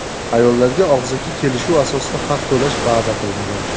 Ayollarga og‘zaki kelishuv asosida haq to‘lash va’da qilingan.